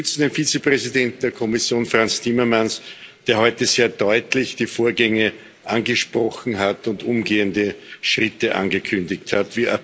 Wir unterstützen den Vizepräsidenten der Kommission, Frans Timmermans, der heute sehr deutlich die Vorgänge angesprochen hat und umgehende Schritte angekündigt hat.